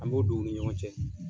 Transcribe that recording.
An b'o don o ni ɲɔgɔn cɛ.